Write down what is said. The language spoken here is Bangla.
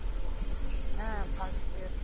হ্যাঁ fast year